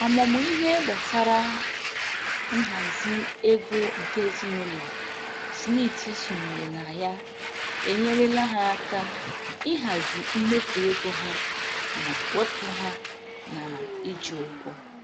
Ọmụmụ ihe gbasara nhazi ego nke ezinụlọ Smith sonyere na ya enyerela ha aka ihazi mmefu ego ha ma wepụ ha na-iji ụgwọ